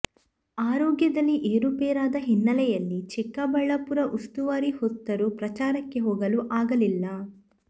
ಆರೋಗ್ಯದಲ್ಲಿ ಏರುಪೇರಾದ ಹಿನ್ನೆಲೆಯಲ್ಲಿ ಚಿಕ್ಕಬಳ್ಳಾಪುರ ಉಸ್ತುವಾರಿ ಹೊತ್ತರೂ ಪ್ರಚಾರಕ್ಕೆ ಹೋಗಲು ಆಗಲಿಲ್ಲ